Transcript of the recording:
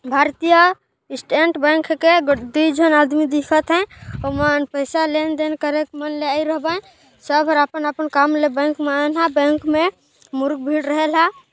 भारतीय state bank के गद्दी झन आदमी दिखा थे ओमन पईसा लेन-देन करे क मन ल एरो बाइन सब र अपन-अपन काम ल बैंक म आयन ह बैंक मे मुरुक भीड़ रहेल ह।